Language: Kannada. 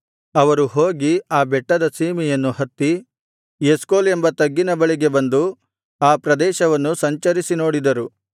ಅವರು ಹೋಗಿ ಆ ಬೆಟ್ಟದ ಸೀಮೆಯನ್ನು ಹತ್ತಿ ಎಷ್ಕೋಲ್ ಎಂಬ ತಗ್ಗಿನ ಬಳಿಗೆ ಬಂದು ಆ ಪ್ರದೇಶದಲ್ಲಿ ಸಂಚರಿಸಿ ನೋಡಿದರು